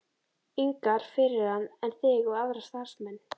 ingar fyrir hann en þig og aðra starfsmenn.